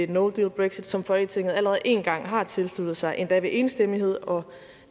no deal brexit som folketinget allerede én gang har tilsluttet sig endda ved enstemmighed og